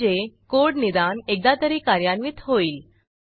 म्हणजे कोड निदान एकदा तरी कार्यान्वित होईल